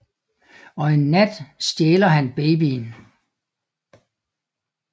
Og en nat stjæler han babyen